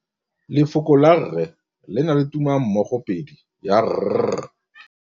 Lefoko la rre le na le tumammogôpedi ya, r.